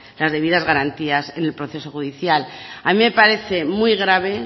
las debidas garantías en el proceso judicial a mí me parece muy grave